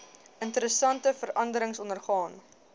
interessante veranderings ondergaan